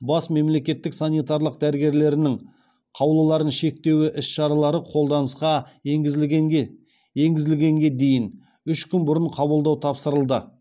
бас мемлекеттік санитарлық дәрігерлерінің қаулыларын шектеуі іс шаралары қолданысқа енгізілгенге дейін үш күн бұрын қабылдау тапсырылды